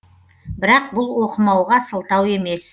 бірақ бұл оқымауға сылтау емес